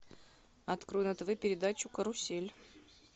открой на тв передачу карусель